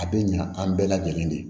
A bɛ ɲa an bɛɛ lajɛlen de